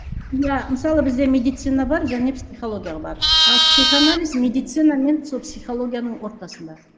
иә мысалы бізде медицина бар және психология бар а психоанализ медицина мен сол психологияның ортасында